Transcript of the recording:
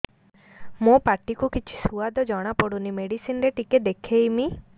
ମୋ ପାଟି କୁ କିଛି ସୁଆଦ ଜଣାପଡ଼ୁନି ମେଡିସିନ ରେ ଟିକେ ଦେଖେଇମି